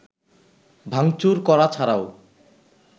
ভাঙচুর করা ছাড়াও